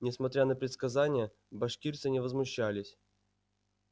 несмотря на предсказания башкирцы не возмущались